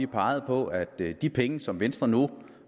peget på at de penge som venstre nu